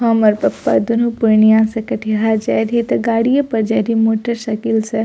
हमर पप्पा दुनो से कटिहार जाए रही त गाड़ीय पर जा रही मोटर साइकिल से।